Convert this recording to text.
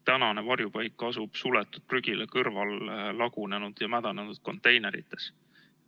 Tänane varjupaik asub suletud prügila kõrval lagunenud ja mädanenud konteinerites.